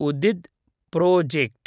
उदिद् project